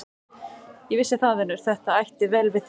Ég vissi það, vinur, að þetta ætti vel við þig.